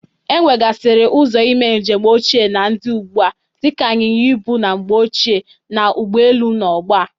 E wegasịrị ụzọ ime njem ochie na ndị ugbu a dịka ịnyịnya ịbụ na mgbe ochie na ụgbọelu n'ọgbọ a.